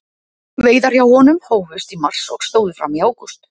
Veiðar hjá honum hófust í mars og stóðu fram í ágúst.